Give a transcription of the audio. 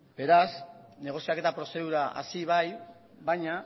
beraz negoziaketa prozedura hasi bai baina